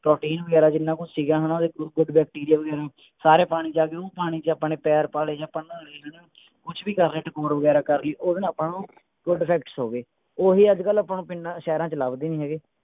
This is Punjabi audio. ਪ੍ਰੋਟੀਨ ਵਗੈਰਾ ਜਿੰਨਾ ਕੁਸ਼ ਸੀਗਾ ਹਣਾ ਬੈਕਟੀਰੀਆ ਵਗੈਰਾ ਸਾਰੇ ਪਾਣੀ ਚ ਆ ਗਏ ਉਹ ਪਾਣੀ ਚ ਆਪਣੇ ਪੈਰ ਪਾ ਲਏ ਜਾ ਕੁਛ ਵੀ ਕਰ ਰਹੇ ਟਕੋਰ ਵਗੈਰਾ ਕਰ ਲਈ ਓਹਦੇ ਨਾਲ ਆਪਾਂ ਨੂੰ good effects ਹੋ ਗਏ ਓਹੀ ਅੱਜਕਲ ਆਪਾਂ ਨੂੰ ਪਿੰਡਾ ਸ਼ਹਿਰਾਂ ਚ ਲਭਦੇ ਨਹੀਂ ਹੈਗੇ